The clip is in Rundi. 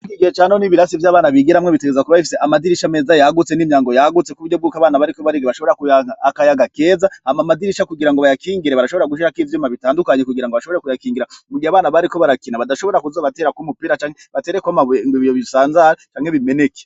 Iki gihe ca none ibirasi vy'abana bigiramwo bitegeza kuba bifise amadirisha meza yagutse n'imyango yagutse kuburyo bwuko abana bariko bariga bashobora kuronka akayaga keza, hama amadirisha kugira ngo bayakingire barashobora gushirako ivyuma bitandukanye kugira ngo bashobora kuyakingira mu gihe abana bariko barakina badashobora kuza baraterako umupira canke batereko amabuye ngo ibiyo bisanzare canke bimeneke.